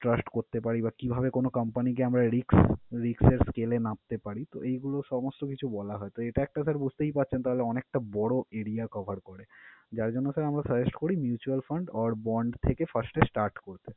Trust করতে পারি বা কিভাবে কোন company কে আমরা risk risk scale এ মাপতে পারি? তো, এইগুলো সমস্ত কিছু বলা হয়। তো, এইটা একটা বুঝতেই পারছেন তাহলে অনেকটা বড় area cover করে। যার জন্য sir আমরা suggest করি mutual fund or bond থেকে first এ start করতে।